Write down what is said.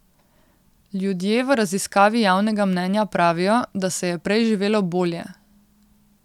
Ljudje v raziskavi javnega mnenja pravijo, da se je prej živelo bolje.